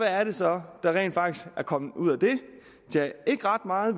er det så der rent faktisk er kommet ud af det tjah ikke ret meget